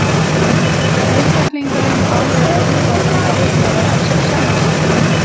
Einstaklingurinn á með öðrum orðum erfitt með að elska sjálfan sig.